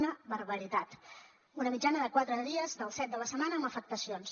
una barbaritat una mitjana de quatre dies dels set de la setmana amb afectacions